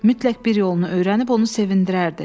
Mütləq bir yolunu öyrənib onu sevindirərdi.